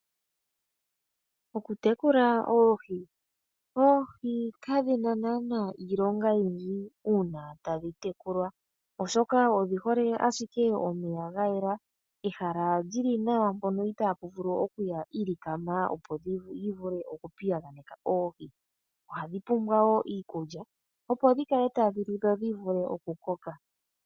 Okutekula oohi, oohi kadhina nana iilongo oyindji ngele tadhi tekulwa oshoka odhi hole momeya gayela nehala lyili nawa mpoka itaapuya iilikama kaayivule oku piyaganeka oohi. Oohi odhapumbwa woo iikulya opo dhivule okulya nokukoka.